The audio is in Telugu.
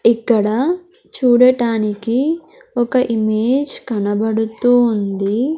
ఇక్కడ చూడటానికి ఒక ఇమేజ్ కనబడుతూ ఉంది.